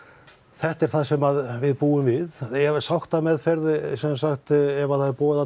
þetta er það sem við búum við ef sáttameðferð ef það er boðað